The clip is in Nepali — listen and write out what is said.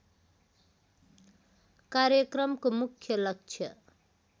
कार्यक्रमको मुख्य लक्ष्य